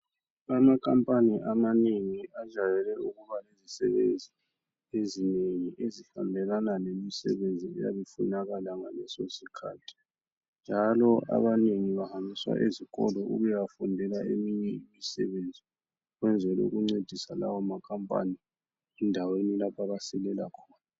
Amakhampani amanengi ajwayele ukuba lezisebenzi ezinengi ezihambelana lemisebenzi eyabe ifunakala ngaleso sikhathi, njalo abanengi bahambiswa ezikolo ukuyafundela eminye imisebenzi ukwenzel' ukuncedisa lawo makhampani endaweni lapho abasilela khona.